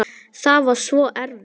Það var svo erfitt.